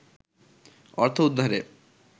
অর্থ উদ্ধারে